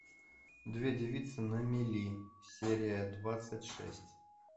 две девицы на мели серия двадцать шесть